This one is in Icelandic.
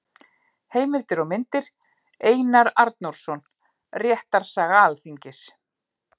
Heimildir og myndir: Einar Arnórsson: Réttarsaga Alþingis.